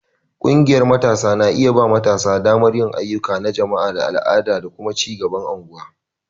Ƙungiyar Matasa tana ba matasa damar yin ayyuka na jama'a, al'ada, da kuma ci gaban unguwa.